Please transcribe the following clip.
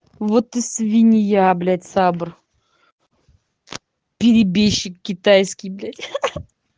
вот ты свинья блять сабр перебежчик китайский блять ха ха